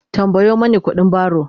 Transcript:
tambayo Mani ƙuɗin baro!